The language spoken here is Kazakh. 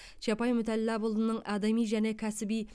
чапай мүтәллапұлының адами және кәсіби